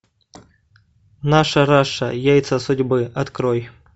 наша раша яйца судьбы открой